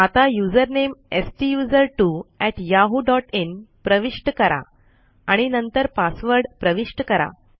आता युजर नामे STUSERTWOyahooin प्रविष्ट करा आणि नंतर पासवर्ड प्रविष्ट करा